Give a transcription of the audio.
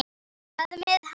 Hvað með hana?